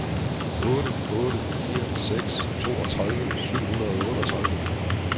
otte otte fire seks toogtredive syv hundrede og otteogtredive